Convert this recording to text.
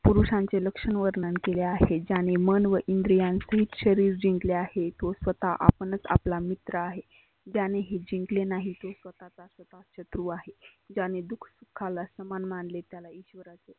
पुरुषांचे लक्षन वर्णन केले आहे ज्याने मन व इंद्रियांतील शरीर जिंकले आहेत. व स्वतः आपनच आपला मित्र आहे. त्याने हे जिंकले नाही स्वतःच स्वतःचा शत्रु आहे. ज्याने दुखाला समान अमानले त्याला इश्वरा